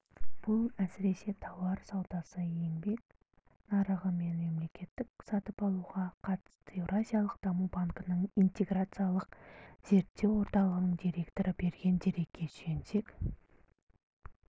бұл әсіресе тауар саудасы еңбек нарығы мен мемлекеттік сатып алуларға қатысты еуразиялық даму банкінің интеграциялық зерттеу орталығының директоры берген дерекке сүйенсек